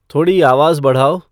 थोड़ी आवाज़ बढ़ाओ